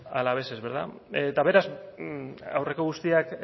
alaveses eta beraz aurreko guztiak